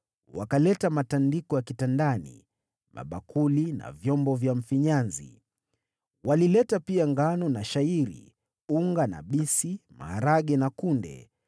wakaleta matandiko ya kitandani, mabakuli na vyombo vya mfinyanzi. Walileta pia ngano na shayiri, unga na bisi, maharagwe na kunde,